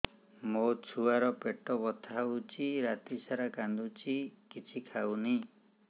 ମୋ ଛୁଆ ର ପେଟ ବଥା ହଉଚି ରାତିସାରା କାନ୍ଦୁଚି କିଛି ଖାଉନି